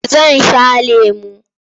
Zan sha lemo.